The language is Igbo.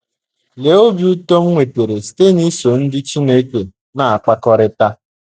Lee obi ụtọ m nwetara site n’iso ndị Chineke na - akpakọrịta!